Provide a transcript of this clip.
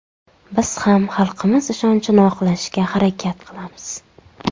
Biz ham xalqimiz ishonchini oqlashga harakat qilamiz.